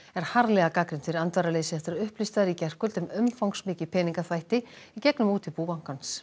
er harðlega gagnrýnd fyrir andvaraleysi eftir að upplýst var í gærkvöld um umfangsmikið peningaþvætti í gegnum útibú bankans